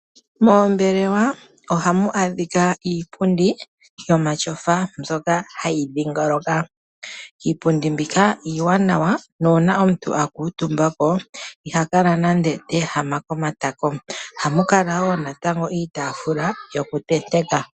Moombelewa ohamu adhika iipundi yomatyofa mbyoka hayi dhingoloka. Iipundi mbika iiwanawa nuuna omuntu a kuutumba ko, iha kala nande te ehama kotako. Ohamu kala wo natango iitaafula yoku tenteka.